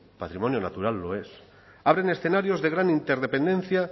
patrimonio natural lo es abren escenarios de gran interdependencia